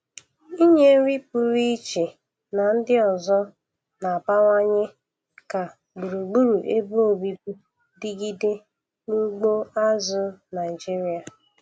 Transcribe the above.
Inye nri purụ iche na ndị ọzọ na-abawanye ka gburugburu ebe obibi digide na ugbo azụ̀ Naịjiria.